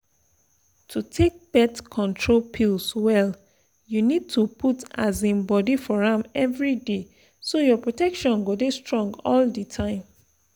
to take birth control pills well you need to put um body for am everyday so your protection go dey strong all the time.